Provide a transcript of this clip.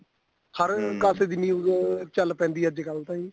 ਹਰ ਪਾਸੇ ਦੀ news ਓ ਚੱਲ ਪੈਂਦੀ ਏ ਅੱਜਕਲ ਤਾਂ ਜੀ